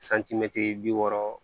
bi wɔɔrɔ